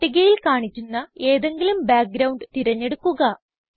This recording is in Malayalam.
പട്ടികയിൽ കാണിക്കുന്ന ഏതെങ്കിലും ബാക്ക്ഗ്രൌണ്ട് തിരഞ്ഞെടുക്കുക